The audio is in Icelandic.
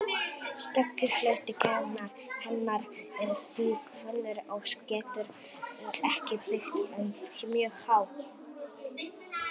Stökki hluti hennar er því þunnur og getur ekki byggt upp mjög háa spennu.